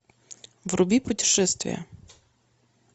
вруби путешествие